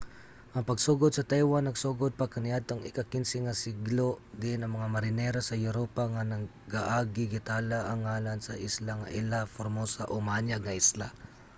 ang pagsugod sa taiwan nagsugod pa kaniadtong ika-15 nga siglo diin ang mga marinero sa europa nga nagaagi gitala ang ngalan sa isla nga ilha formosa o maanyag nga isla